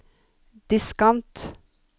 diskant